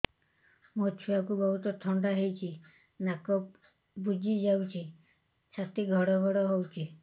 ମୋ ଛୁଆକୁ ବହୁତ ଥଣ୍ଡା ହେଇଚି ନାକ ବୁଜି ଯାଉଛି ଛାତି ଘଡ ଘଡ ହଉଚି